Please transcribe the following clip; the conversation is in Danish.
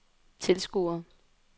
tilskuere